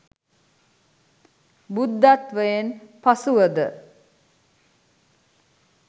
බුද්ධත්වයෙන් පසුවද